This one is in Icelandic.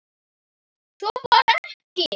Svo var ekið.